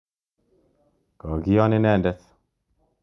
Ko kion inendet.